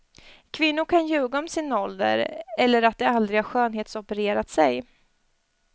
Kvinnor kan ljuga om sin ålder eller att de aldrig har skönhetsopererat sig.